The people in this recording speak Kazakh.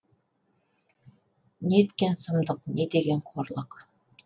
неткен сұмдық не деген қорлық